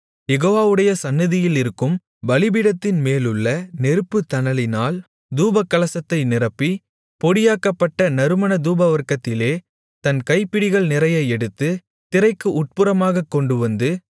யெகோவாவுடைய சந்நிதியிலிருக்கும் பலிபீடத்தின்மேலுள்ள நெருப்புத்தணலினால் தூபகலசத்தை நிரப்பி பொடியாக்கப்பட்ட நறுமண தூபவர்க்கத்திலே தன் கைப்பிடிகள் நிறைய எடுத்து திரைக்கு உட்புறமாகக் கொண்டுவந்து